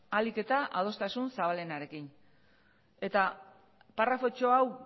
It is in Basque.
ahalik eta adostasun zabalenarekin eta paragrafotxo hau